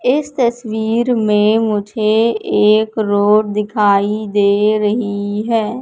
इस तस्वीर में मुझे एक रोड दिखाई दे रही है।